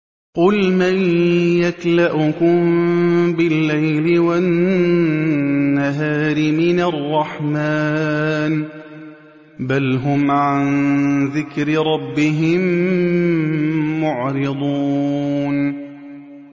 قُلْ مَن يَكْلَؤُكُم بِاللَّيْلِ وَالنَّهَارِ مِنَ الرَّحْمَٰنِ ۗ بَلْ هُمْ عَن ذِكْرِ رَبِّهِم مُّعْرِضُونَ